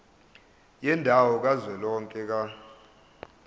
yendawo kazwelonke ka